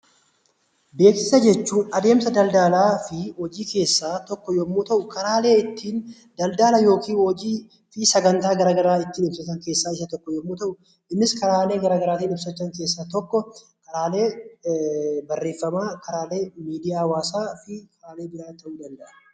Beeksisa jechuun adeemsa daldaalaa fi hojii keessaa tokkoo yammuu ta'u; karaalee ittiin daldaala yookiin hojii fi sagantaa garaa garaa ittiin hojjetan keessa tokko. Innis karaalee garaa garaa ittiin hojjetan keessaa tokkoo; karaalee barreeffamaa, karaalee miidiyaa hawwaasaa fi kan kana fakkaataniin ni darba.